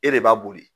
E de b'a boli